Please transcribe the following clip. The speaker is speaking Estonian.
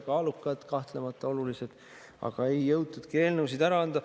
Need olid kahtlemata kaalukad, olulised, aga ei jõutudki eelnõusid üle anda.